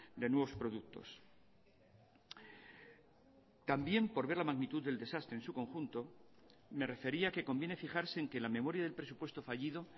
de nuevos productos también por ver la magnitud del desastre en su conjunto me refería que conviene fijarse en que la memoria del presupuesto fallido